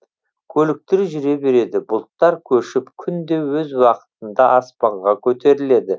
көліктер жүре береді бұлттар көшіп күн де өз уақытында аспанға көтеріледі